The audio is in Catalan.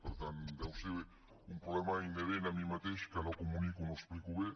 per tant deu ser un problema inherent a mi mateix que no comunico no explico bé